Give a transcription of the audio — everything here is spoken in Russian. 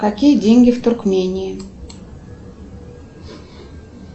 какие деньги в туркмении